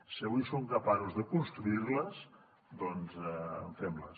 si avui som capaços de construir les doncs fem les